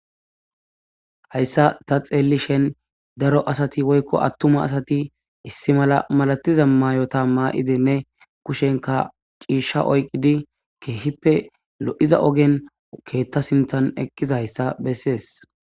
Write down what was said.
Hayssa ta xellishin daro asati woykko attuma asti issa mala mastiza mayot mayi Dr inne kushenkk ciishsha oyqidii keehippe lo'iza oogen keeta sinttan eqizayssa besses